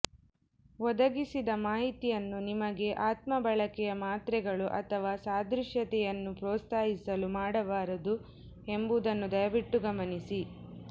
ಒದಗಿಸಿದ ಮಾಹಿತಿಯನ್ನು ನಿಮಗೆ ಆತ್ಮ ಬಳಕೆಯ ಮಾತ್ರೆಗಳು ಅಥವಾ ಸಾದೃಶ್ಯತೆಯನ್ನು ಪ್ರೋತ್ಸಾಹಿಸಲು ಮಾಡಬಾರದು ಎಂಬುದನ್ನು ದಯವಿಟ್ಟು ಗಮನಿಸಿ